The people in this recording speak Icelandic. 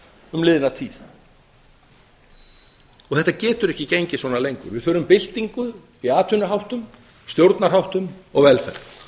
um liðna tíð og þetta getur ekki gengið svona lengur við þurfum byltingu í atvinnuháttum stjórnarháttum og velferð